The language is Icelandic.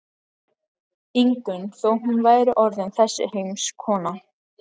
Ingunn þó hún væri orðin þessi heimskona.